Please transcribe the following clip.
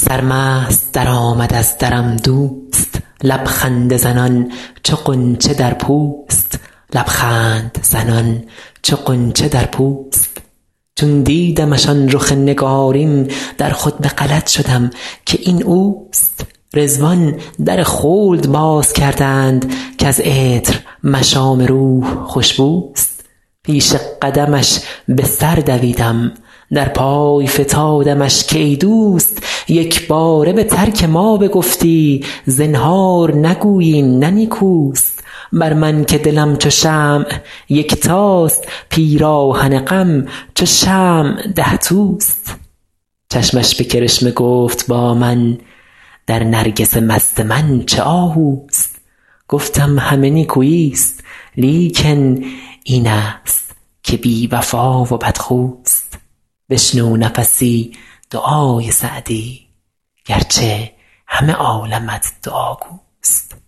سرمست درآمد از درم دوست لب خنده زنان چو غنچه در پوست چون دیدمش آن رخ نگارین در خود به غلط شدم که این اوست رضوان در خلد باز کردند کز عطر مشام روح خوش بوست پیش قدمش به سر دویدم در پای فتادمش که ای دوست یک باره به ترک ما بگفتی زنهار نگویی این نه نیکوست بر من که دلم چو شمع یکتاست پیراهن غم چو شمع ده توست چشمش به کرشمه گفت با من در نرگس مست من چه آهوست گفتم همه نیکویی ست لیکن این است که بی وفا و بدخوست بشنو نفسی دعای سعدی گر چه همه عالمت دعاگوست